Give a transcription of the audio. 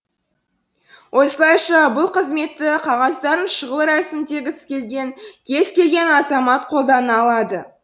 осылайша бұл қызметті қағаздарын шұғыл рәсімдегісі келген кез келген азамат қолдана алады